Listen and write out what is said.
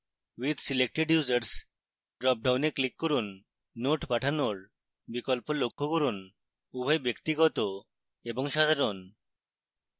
with selected users dropdown click করুন notes পাঠানোর বিকল্প লক্ষ্য করুন; উভয় ব্যক্তিগত এবং সাধারণ